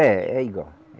É, é igual.